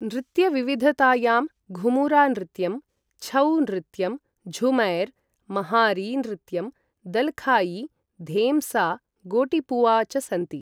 नृत्यविविधतायां घूमुरा नृत्यं, छौ नृत्यं, झूमैर्, महारी नृत्यं, दल्खायी, धेम्सा, गोटिपुवा च सन्ति।